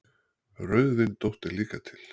Rauðvindótt er líka til.